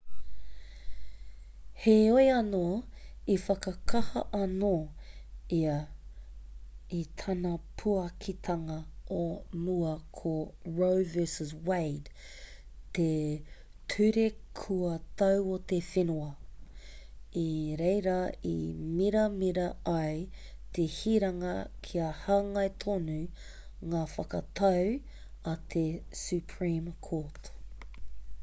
heoi anō i whakakaha anō ia i tāna puakitanga o mua ko roe v wade te ture kua tau o te whenua i reira i miramira ai te hiranga kia hāngai tonu ngā whakatau a te supreme court